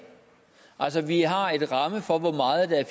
altså vi har en ramme for hvor meget der er